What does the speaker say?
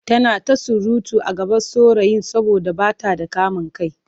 Tana ta surutu a gaban saurayi saboda ba ta da kamin kai.